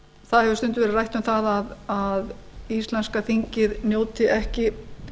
það hefur stundum verið rætt um það að íslenska þingið njóti ekki